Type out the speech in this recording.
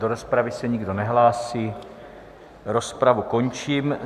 Do rozpravy se nikdo nehlásí, rozpravu končím.